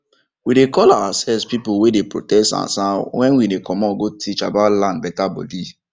we dey call ourselves people wey dey protect sansan wen we dey comot go teach about land beta bodi